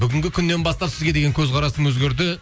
бүгінгі күннен бастап сізге деген көзқарасым өзгерді